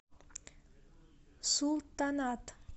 султанат